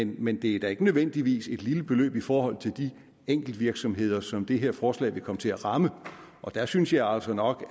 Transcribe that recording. men det er da ikke nødvendigvis et lille beløb i forhold til de enkeltvirksomheder som det her forslag vil komme til at ramme og der synes jeg altså nok